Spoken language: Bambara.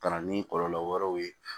Ka na ni kɔlɔlɔ wɛrɛw ye